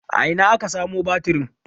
a Ina aka samo batirin?